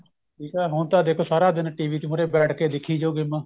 ਠੀਕ ਏ ਹੁਣ ਤਾਂ ਦੇਖੋ ਸਾਰਾ ਦਿਨ TV ਚ ਮੁਰੇ ਬੈਠ ਕੇ ਦੇਖੀ ਜਾਓ ਗੇਮਾ